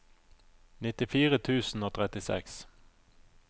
nittifire tusen og trettiseks